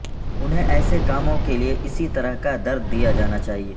انہیں ایسے کاموں کے لئے اسی طرح کا درد دیا جانا چاہئے